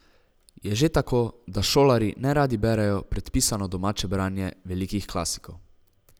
Je že tako, da šolarji ne radi berejo predpisano domače branje velikih klasikov.